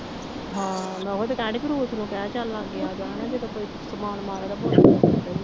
ਹਾਂ ਮੈਂ ਉਹੀ ਤਾਂ ਕਹਿਣ ਡੇਈ ਸੀ ਤੂੰ ਉਸਨੂੰ ਕਹਿ ਚੱਲ ਲਾਗੇ ਆ ਜਾ ਹੈ ਨਾ ਜਦੋਂ ਕੋਈ ਸਮਾਨ ਮੰਗਦਾ